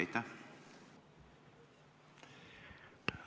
Aitäh!